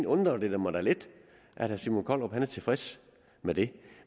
undrer det mig da lidt at herre simon kollerup er tilfreds med det